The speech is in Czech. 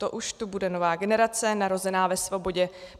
To už tu bude nová generace narozená ve svobodě.